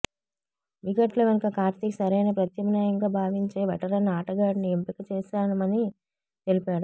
వికెట్ల వెనుక కార్తీక్ సరైన ప్రత్యామ్నాయంగా భావించే వెటరన్ ఆటగాడిని ఎంపిక చేశామని తెలిపాడు